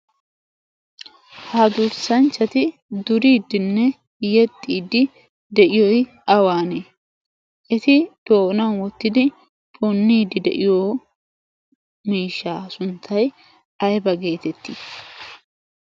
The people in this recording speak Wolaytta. ha dursanchati duriidinne yexiidei diyoy awaane? eti doonan wotido puniyoba sunttay ayba geetettii?